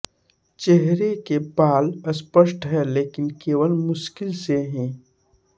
चेहरे के बाल स्पष्ट हैं लेकिन केवल मुश्किल से ही